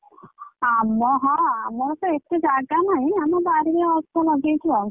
ଆମ ହଁ ଆମର ତ ଏଠି ଜାଗା ନାହିଁ ଆମ ବାରିରେ ଅଳ୍ପ ଲଗେଇଛୁ ଆଉ।